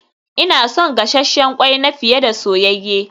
Ina son gasasshen kwai na fiye da soyayye